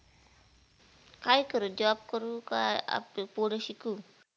काय करू Job करू का आपलं पुढं शिकु?